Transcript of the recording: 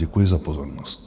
Děkuji za pozornost.